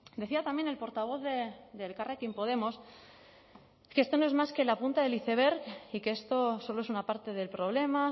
decía también el portavoz de elkarrekin podemos que esto no es más que la punta del iceberg y que esto solo es una parte del problema